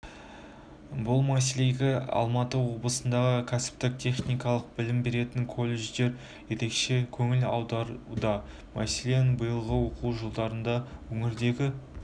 бұл мәселеге алматы облысындағы кәсіптік-техникалық білім беретін колледждер ерекше көңіл аударуда мәселен биылғы оқу жылында өңірдегі